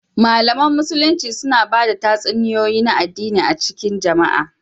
Malaman Musulunci suna ba da tatsuniyoyi na addini a cikin jama'a